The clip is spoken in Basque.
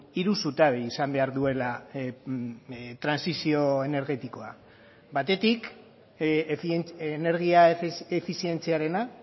hiru zutabe izan behar duela trantsizio energetikoa batetik energia efizientziarena